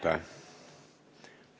Aitäh!